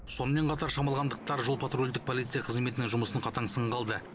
сонымен қатар шамалғандықтар жол патрульдік полиция қызметінің жұмысын қатаң сынға алды